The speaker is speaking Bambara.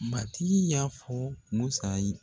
Matigi y'a fɔ Musa ye